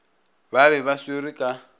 ba be ba swerwe ka